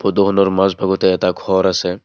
ফটোখনৰ মাজভাগতে এটা ঘৰ আছে।